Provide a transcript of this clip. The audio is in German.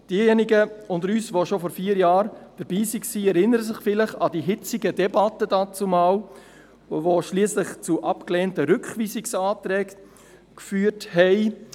Diejenigen unter uns, die schon vor vier Jahren dabei waren, erinnern sich vielleicht an die hitzigen Debatten, die schliesslich zu abgelehnten Rückweisungsanträgen geführt haben.